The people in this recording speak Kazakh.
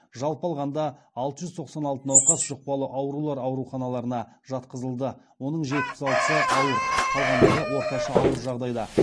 жалпы алғанда алты жүз тоқсан алты науқас жұқпалы аурулар ауруханаларына жатқызылды оның жетпіс алтысы ауыр қалғандары орташа ауыр жағдайда